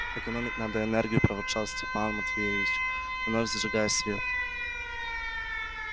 экономить надо энергию проворчал степан матвеевич вновь зажигая свет